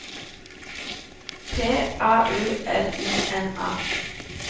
P A U L I N A